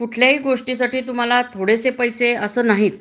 कुठल्याही गोष्टीसाठी तुम्हाला थोडे पैसे अस नाहीत